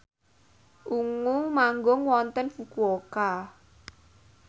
Ungu manggung wonten Fukuoka